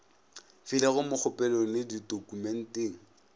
filego mo kgopelong le ditokumenteng